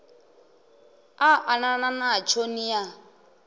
a anana natsho ni a